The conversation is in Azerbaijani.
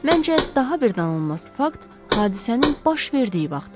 Məncə, daha bir danılmaz fakt hadisənin baş verdiyi vaxtdır.